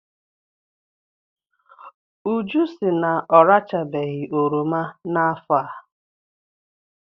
Uju sị na ọrachabeghị oroma n'afọ a.